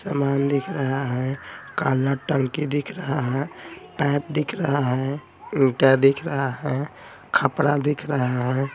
सामान दिख रहा हैं काला टंकी दिख रहा हैं पाइप दिख रहा हैं ईटा दिख रहा हैं खपड़ा दिख रहा हैं।